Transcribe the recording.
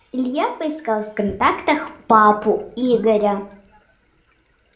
илья поискал в контактах папу игоря